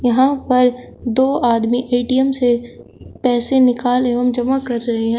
यहां पर दो आदमी ए_टी_एम से पैसे निकाल एवं जमा कर रहे हैं।